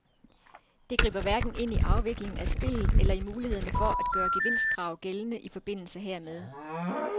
Det griber hverken ind i afviklingen af spillet eller i mulighederne for at gøre gevinstkrav gældende i forbindelse hermed.